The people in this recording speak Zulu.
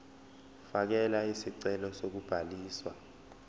fakela isicelo sokubhaliswa